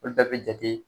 Olu bɛɛ bɛ jate